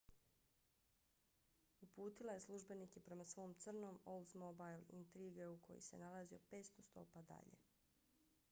uputila je službenike prema svom crnom oldsmobile intrigueu koji se nalazio 500 stopa dalje